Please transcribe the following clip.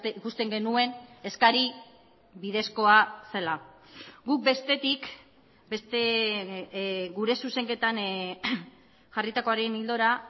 ikusten genuen eskari bidezkoa zela guk bestetik gure zuzenketan jarritakoaren ildora